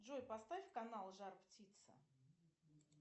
джой поставь канал жар птица